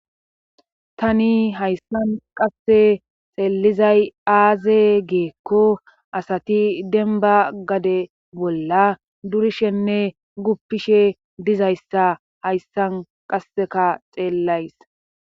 tani hayssan qasse xeelizay aaze geekko asati denba gade bolla durishenne guppishe dizayssa hayssan qasseka xeellays